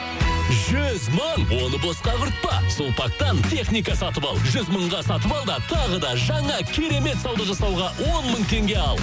жүз мың оны босқа құртпа сулпактан техника сатып ал жүз мыңға сатып ал да тағы да жаңа керемет сауда жасауға он мың теңге ал